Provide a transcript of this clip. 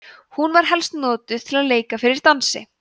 hún var helst notuð til að leika fyrir dansi